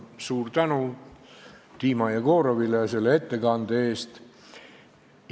Suur tänu Dima Jegorovile selle ettekande eest!